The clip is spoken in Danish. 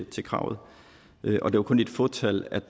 til kravet og det var kun et fåtal